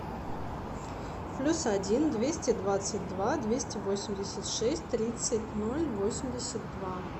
плюс один двести двадцать два двести восемьдесят шесть тридцать ноль восемьдесят два